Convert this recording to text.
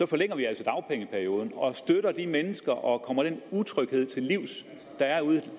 forlænger vi altså dagpengeperioden og støtter de mennesker og kommer den utryghed til livs der er ude